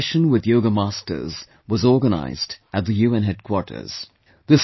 A 'Yoga Session with Yoga Masters' was organised at the UN headquarters